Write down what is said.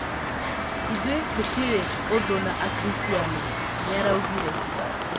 "Ithuĩ tũtĩrĩ ũthũ na na akristiano", nĩaraugire.